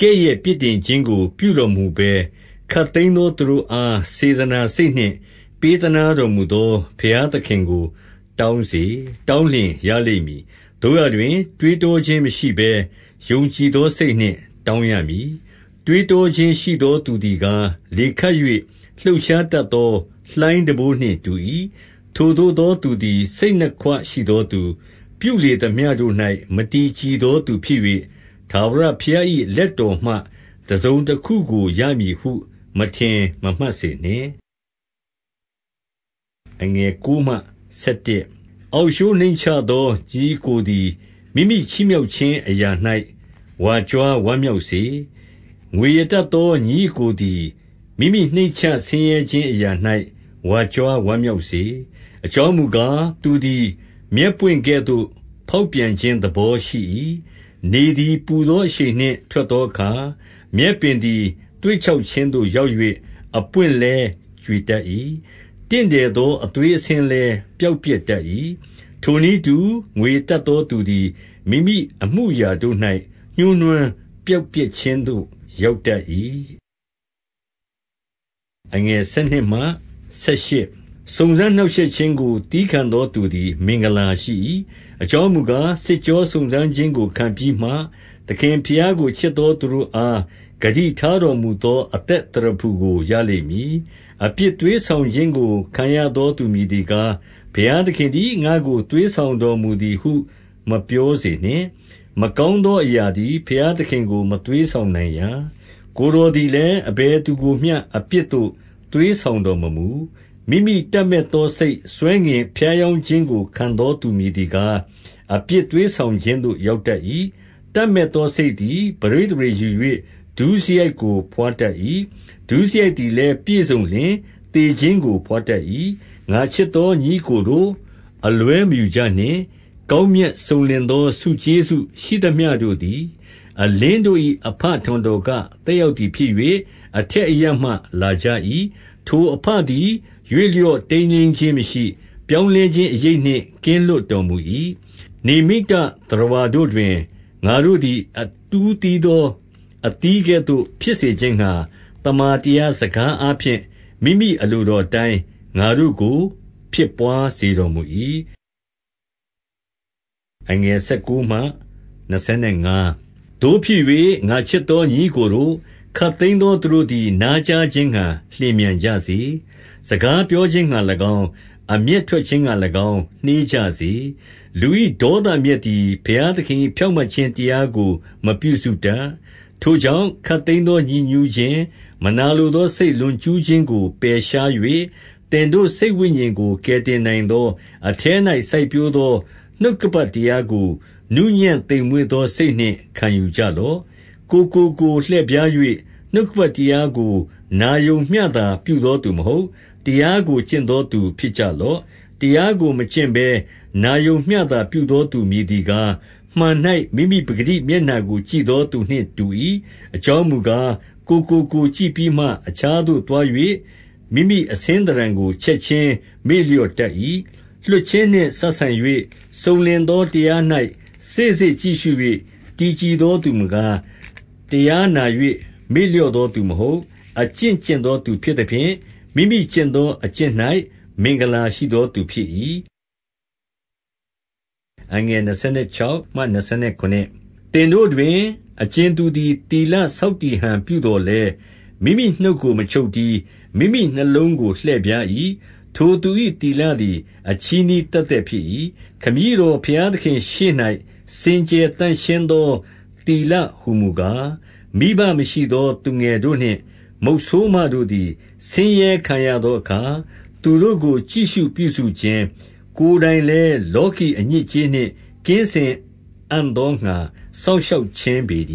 ကဲ့ရဲ့ပြစ်တင်ခြင်းကို ပြုတော်မမူဘဲ၊ ခပ်သိမ်းသော သူတို့အား စေတနာစိတ်နှင့်ပေးသနားတော်မူသော ဘုရားသခင်ကို တောင်းစေ၊ တောင်းလျှင် ရလိမ့်မည်။ 6 သို့ရာတွင် တွေးတောခြင်းမရှိဘဲ ယုံကြည်သောစိတ်နှင့်တောင်းရမည်။ တွေးတောခြင်းရှိသော သူသည် ကား၊ လေခတ်၍လှုပ်ရှားတတ်သော လှိုင်းတံပိုးနှင့်တူ၏။ 7 ထိုသို့သောသူသည် စိတ်နှစ်ခွရှိသောသူ၊ ပြုလေသမျှတို့၌ မတည်ကြည်သောသူဖြစ်၍၊ 8 ထာဝရ ဘုရား၏ လက်တော်မှတစုံတခုကို ရမည်ဟုမထင်မမှတ်စေနှင့်။ 9 အောက်လျှိုးနှိမ့်ချသော ညီအစ်ကိုသည် မိမိချီးမြှောက်ခြင်းအရာ၌ ဝါကြွားဝမ်းမြောက်စေ။ 10 ငွေရတတ်သော ညီအစ်ကိုသည် မိမိနှိမ့်ချဆင်းရဲခြင်းအရာ၌ ဝါကြွားဝမ်းမြောက်စေ။ အကြောင်းမူ ကား၊ သူသည်မြက်ပွင့်ကဲ့သို့ ဖေါက်ပြန်ခြင်းသဘောရှိ၏။ 11 နေသည်ပူသော အရှိန်နှင့်ထွက်သောအခါ၊ မြက်ပင်သည် သွေ့ခြောက်ခြင်းသို့ရောက်၍ အပွင့်လည်း ကြွေတတ်၏။ တင့်တယ်သော အသွေးအဆင်းလည်း ပျောက်ပျက်တတ်၏။ ထိုနည်းတူ၊ ငွေရတတ်သော သူသည် မိမိအမှုအရာတို့၌ ညှိုးနွမ်းပျောက်ပျက်ခြင်းသို့ရောက်တတ်၏။ 12 စုံစမ်းနှောင့်ရှက်ခြင်းကို သည်းခံသောသူသည် မင်္ဂလာရှိ၏။ အကြောင်းမူကား၊ စစ်ကြောစုံစမ်းခြင်းကို ခံပြီးမှ သခင်ဘုရားကို ချစ်သော သူတို့အား ဂတိထားတော်မူသောအသက်သရဖူကို ရလိမ့်မည်။ 13 အပြစ်သွေးဆောင်ခြင်းကို ခံရသောသူ မည်သည်ကား၊ ဘုရားသခင်သည် ငါ့ကိုသွေးဆောင်တော်မူ သည်ဟု မပြောစေနှင့်။ မကောင်းသောအရာသည် ဘုရားသခင်ကိုမသွေးဆောင်နိုင်ရာ။ ကိုယ်တော်သည်လည်း အဘယ်သူကိုမျှ အပြစ်သို့ သွေးဆောင်တော်မမူ။ 14 မိမိတပ်မက်သောစိတ် ဆွဲငင်ဖြားယောင်းခြင်းကို ခံသောသူမည်သည်ကား၊ အပြစ်သွေးဆောင်ခြင်းသို့ ရောက်တတ်၏။ 15 တပ်မက်သောစိတ်သည် ပဋိသန္ဓေ ယူ၍ဒုစရိုက်သည်လည်း ပြည့်စုံလျှင်သေခြင်းကို ဘွားတတ်၏။ 16 ငါချစ်သောညီအစ်ကိုတို့၊ အလွဲမယူကြနှင့်။ ကောင်းမြတ်စုံလင်သော ဆုကျေးဇူးရှိသမျှတို့သည် အလင်းတို့၏ အဘထံတော်က သက်ရောက်သည်ဖြစ်၍၊ အထက်အရပ်မှ လာကြ၏။ 17 ထိုအဘသည် ရွေ့ လျော့တိမ်းယိမ်းခြင်းမရှိ၊ ပြောင်းလဲခြင်းအရိပ်နှင့် ကင်းလွတ်တော်မူ၏။ 18 နိမ္ဗိတသတ္တဝါတို့တွင် ငါတို့သည် အဦးသီးသောအသီးကဲ့သို့ ဖြစ်စေခြင်းငှါ၊ သမ္မာတရားစကားအားဖြင့် မိမိအလိုတော်အတိုင်း ငါတို့ကို ဖြစ်ဘွားစေတော်မူ၏။ 19 သို့ဖြစ်၍၊ ငါချစ်သော ညီအစ်ကိုတို့၊ ခပ်သိမ်းသောသူတို့သည် နားကြားခြင်းငှါ လျင်မြန်ကြစေ။ စကား ပြောခြင်းငှါ၎င်း၊ အမျက်ထွက်ခြင်းငှါ၎င်း နှေးကြစေ။ 20 လူ၏ဒေါသအမျက်သည် ဘုရားသခင်၏ ဖြောင့်မတ်ခြင်းတရားကို မပြုစုတတ်။ 21 ထိုကြောင့်၊ ခပ်သိမ်းသောညစ်ညူးခြင်း၊ မနာလိုသောစိတ် လွန်ကျူးခြင်းကို ပယ်ရှား၍၊ သင်တို့စိတ် ဝိညာဉ်ကို ကယ်တင်နိုင်သော၊ အထဲ၌ စိုက်ပျိုးသောနှုတ်ကပတ်တရားကို နှုးညံ့သိမ်မွေ့သော စိတ်နှင့် ခံယူကြ လော့။ 22 ကိုယ်ကိုကိုယ်လှည့်ဖြား၍၊ နှုတ်ကပတ်တရားကို နာရုံမျှသာပြုသောသူမဟုတ်၊ တရားကိုကျင့်သောသူ ဖြစ်ကြလော့။ 23 တရားကိုမကျင့်ဘဲနာရုံမျှသာ ပြုသောသူမည်သည်ကား၊ မှန်၌ မိမိပကတိမျက်နှာကို ကြည့်သော သူနှင့်တူ၏။ 24 အကြောင်းမူကား၊ ကိုယ်ကိုကိုယ်ကြည့်ပြီးမှ၊ အခြားသို့သွား၍ မိမိအဆင်းသဏ္ဌာန်ကို ချက်ခြင်း မေ့လျော့တတ်၏။ 25 လွှတ်ခြင်းနှင့် စပ်ဆိုင်၍စုံလင်သောတရား၌ စေ့စေ့ကြည့်ရှု၍ တည်ကြည်သောသူမူကား၊ တရားနာ၍ မေ့လျော့သောသူမဟုတ်၊ အကျင့်ကျင့်သောသူဖြစ်သဖြင့်၊ မိမိကျင့်သောအကျင့်၌ မင်္ဂလာရှိသောသူဖြစ်၏။ 26 သင်တို့တွင် အကြင်သူသည် သီလဆောက်တည် ဟန်ပြုသော်လည်း၊ မိမိနှုတ်ကို မချုပ်တည်း၊ မိမိနှလုံးကို လှည့်ဖြား၏။ ထိုသူ၏ သီလသည် အချည်းနှီးသက်သက်ဖြစ်၏။ 27 ခမည်းတော်ဘုရားသခင့်ရှေ့၌ စင်ကြယ်သန့်ရှင်းသော သီလဟူမူကား၊ မိဘမရှိသောသူငယ်တို့နှင့် မုတ်ဆိုးမတို့သည် ဆင်းရဲခံရသောအခါ၊ သူတို့ကို ကြည့်ရှုပြုစုခြင်း၊ ကိုယ်တိုင်လည်းလောကီအညစ်အကြေးနှင့် ကင်းစင်အံ့သောငှါ စောင့်ရှောက်ခြင်းပေတ